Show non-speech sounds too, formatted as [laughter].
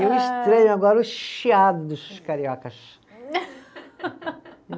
E o estranho agora, o chiado dos cariocas. [laughs]